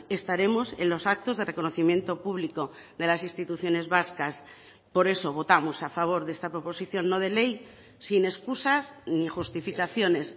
estaremos en los actos de reconocimiento público de las instituciones vascas por eso votamos a favor de esta proposición no de ley sin excusas ni justificaciones